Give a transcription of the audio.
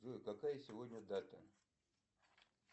джой какая сегодня дата